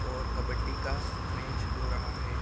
और कब्बडी का मैच हो रहा है।